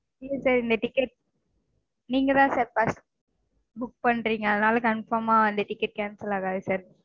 இல்ல sir இந்த ticket நீங்கதா sir first book பண்றீங்க. அதனால confirm -ஆ cancel ஆகாது சார்